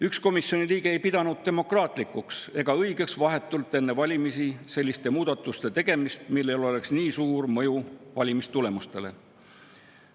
Üks komisjoni liige ei pidanud demokraatlikuks ega õigeks teha vahetult enne valimisi selliseid muudatusi, millel oleks nii suur mõju valimistulemustele.